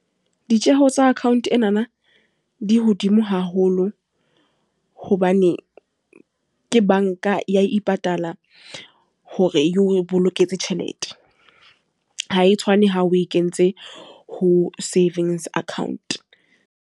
Ditjeho tsa account enana, di hodimo haholo. Hobane ke banka ya ipatala, hore e o boloketse tjhelete. Ha e tshwane ha o e kentse ho savings account.